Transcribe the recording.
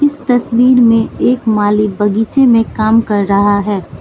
इस तस्वीर में एक माली बगीचे में काम कर रहा है।